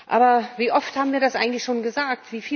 Aber wie oft haben wir das eigentlich schon gesagt?